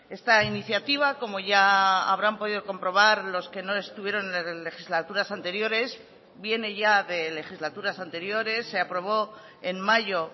esta iniciativa como ya habrán podido comprobar los que no estuvieron en legislaturas anteriores viene ya de legislaturas anteriores se aprobó en mayo